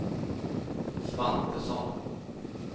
Svantesson